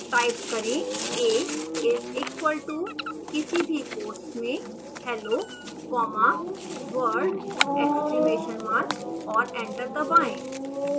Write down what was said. type करें a is equal to किसी भी quotes में hello comma world exclamation mark और एंटर दबाएं